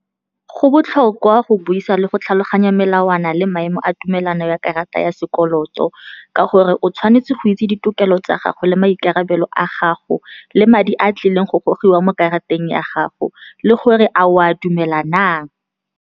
Go botlhokwa go buisa le go tlhaloganya melawana le maemo a tumelano ya karata ya sekoloto, ka gore o tshwanetse go itse ditokelo tsa gago le maikarabelo a gago, le madi a tlileng go gogiwa mo karateng ya gago, le gore a o a dumela na.